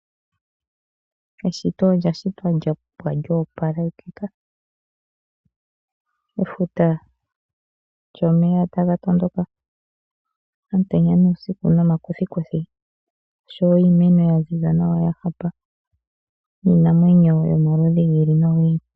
Eshito olyashitwa lyapwa lyoopalekika, efuta lyomeya taga tondoka omutenya nuusiku, nomakuthikuthi osho wo iimeno yaziza nawa yahupa, niinamwenyo yomaludhi gi ili nogi ili.